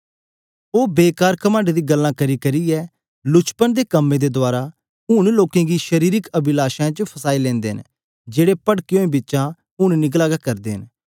ओह बेकार घमण्ड दी गल्ला करी करचै लुचपन दे कम्में दे रहें ऊन लोकें गी शारीरिक अभिलाषाओं च फसाई लेनदे न जेड़े पटके होए बिचा हुने निकली गे रहे न